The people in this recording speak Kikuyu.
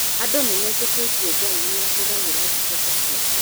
Andũ nĩmetĩkĩtie Ngai nĩ ahũthagĩra ndungata ciake